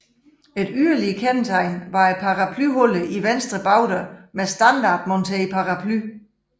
Et yderligere kendetegn var paraplyholderen i venstre bagdør med standardmonteret paraply